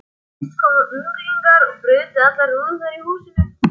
Fyrst komu unglingar og brutu allar rúður í húsinu.